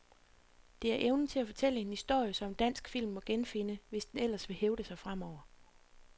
Det er evnen til at fortælle en historie, som dansk film må genfinde, hvis den ellers vil hævde sig fremover.